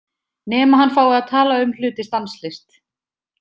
Nema hann fái að tala um hluti stanslaust.